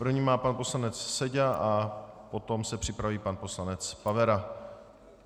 První má pan poslanec Seďa a potom se připraví pan poslanec Pavera.